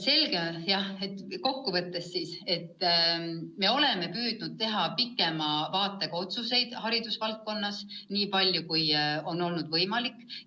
Kokku võttes ütlen, et me oleme püüdnud haridusvaldkonnas teha pikema vaatega otsuseid, nii palju, kui see on võimalik olnud.